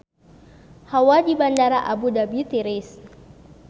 Hawa di Bandara Abu Dhabi tiris